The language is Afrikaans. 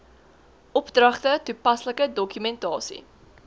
opdragte toepaslike dokumentasie